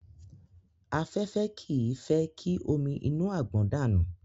Afẹ́fẹ́ kì í fẹ́ kí omi inú àgbọn dànù.